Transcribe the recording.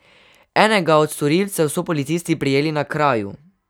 Enega od storilcev so policisti prijeli na kraju.